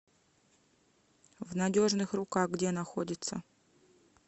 в надежных руках где находится